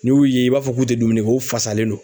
N'i y'u ye i b'a fɔ k'u tɛ dumuni kɛ o fasalen do.